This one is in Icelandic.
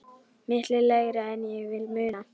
Miklu lægra en ég vil muna.